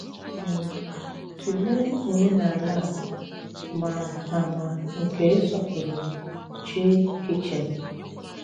um Tụléè òmènàlà à mà àmà nkè ịsọpụrụ chí kìchìn.